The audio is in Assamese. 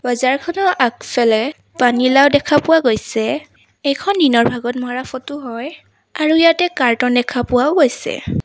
বজাৰখনৰ আগফালে পানীলাও দেখা পোৱা গৈছে এইখন দিনৰ ভাগত মাৰা ফটো হয় আৰু ইয়াতে কাৰ্টুন দেখা পোৱাও গৈছে।